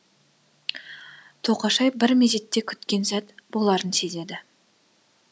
тоқашай бір мезетте күткен сәт боларын сезеді